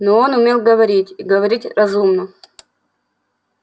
но он умел говорить и говорить разумно